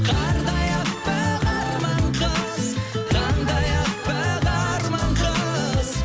қардай әппақ арман қыз таңдай әппақ арман қыз